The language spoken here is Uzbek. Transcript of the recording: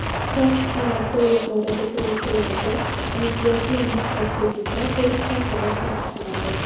Kasb-hunar kollejlari bitiruvchilariga imtiyozli mikrokreditlar berish tartibi tasdiqlandi.